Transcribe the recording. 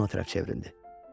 Selina ona tərəf çevrildi.